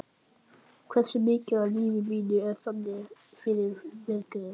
Hversu mikið af lífi mínu er þannig farið forgörðum?